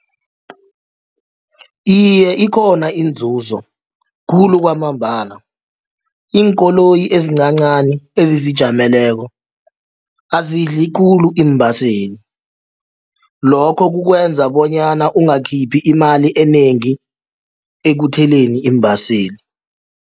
Iye, ikhona inzuzo khulu kwamambala iinkoloyi ezincancani ezizijameleko azidli khulu iimbaseli lokho kukwenza bonyana ungakhiphi imali enengi ekutheleni iimbaseli.